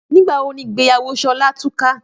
Nígbà wo ni ìgbéyàwó Ṣọlá túká?